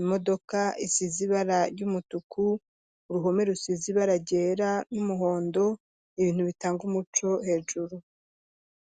imodoka isizi ibara ritukuta uruhome rusizi baragera n'umuhondo ibintu bitanga umuco hejuru.